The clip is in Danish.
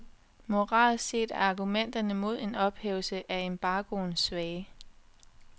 Moralsk set er argumenterne mod en ophævelse af embargoen svage.